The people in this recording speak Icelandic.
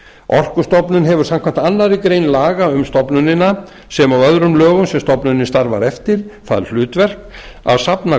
orkustofnun hefur samkvæmt annarri grein laga um stofnunina sem og öðrum lögum sem stofnunin starfar eftir það hlutverk að safna